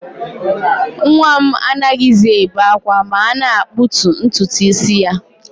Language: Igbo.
Nwa m anaghịzi ebe ákwá ma a na-akputu ntutu isi ya